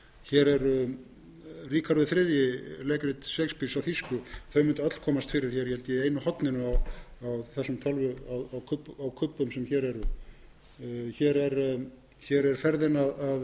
hér eru ríkharður þrjú leikrit shakespeares á þýsku þau mundu öll komast hér fyrir í einu horninu á kubbum sem hér eru hér er ferðin að iðrum jarðar eftir jules